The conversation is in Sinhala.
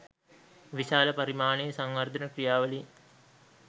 විශාල පරිමාණයේ සංවර්ධන ක්‍රියාවලීන්